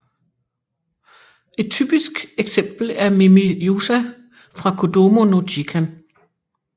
Et typisk eksempel er Mimi Usa fra Kodomo no Jikan